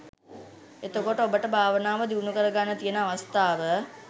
එතකොට ඔබට භාවනාව දියුණුකරගන්න තියෙන අවස්ථාව